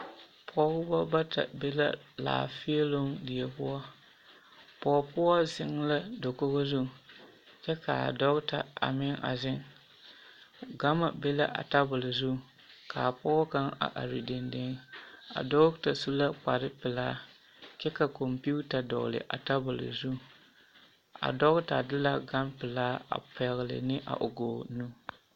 Pɔgebɔ bata be la laanfeeloŋ die poɔ, pɔge poɔ zeŋ la dakogi zu kyɛ k'a dɔgeta a meŋ a zeŋ, gama be la a tabol zu k'a pɔge kaŋa a are dendeŋ, a dɔgeta su la kpare pelaa kyɛ ka kɔmpiuta dɔgele a tabol zu, a dɔgeta de la gampelaa a pɛgele ne a o gɔɔ nu.